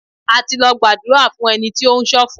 A ti lọ gbàdúrà fún ẹni tí ó ń sọ̀fọ̀.